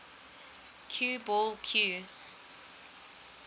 cue ball cue